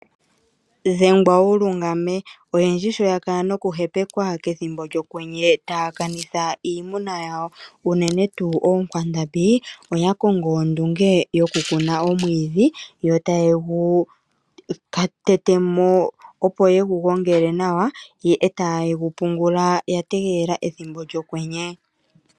Dhengwa wu lungame. Oyendji sho ya kala nokuhepekwa pethimbo lyokwenye taya kanitha iimuna yawo unene tuu oonkwandambi, oya kongo ondunge yokukuna omwiidhi. Yo taye gu tete mo opo ye gu gongele nawa, ihe taye gu pungula ya tegelela ethimbo lyokwenye.